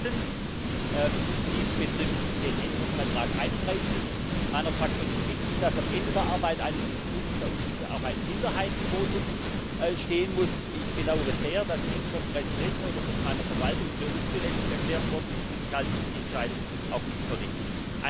Fünftens dies betrifft den Änderungsantrag 31 meiner Fraktion ist wichtig, dass am Ende der Arbeit eines Untersuchungsausschusses auch ein Minderheitenvotum stehen muss. Ich bedauere sehr, dass dies vom Präsidenten oder seiner Verwaltung für unzulässig erklärt worden ist, und ich halte diese Entscheidung auch nicht für richtig.